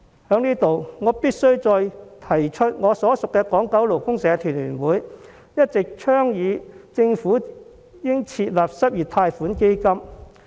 我必須在此再次提出，我所屬的港九勞工社團聯會一直倡議政府應該設立失業貸款基金。